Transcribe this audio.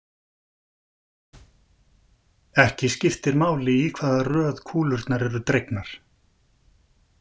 Ekki skiptir máli í hvaða röð kúlurnar eru dregnar.